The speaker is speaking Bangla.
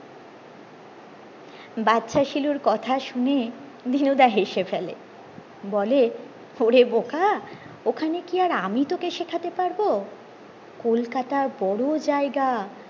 বাচ্চা শিলুর কথা শুনে দিনুদা হেসে ফলে বলে ওরে বোকা ওখানে কি আর আমি তোকে শেখাতে পারবো কলকাতার বড়ো জায়গা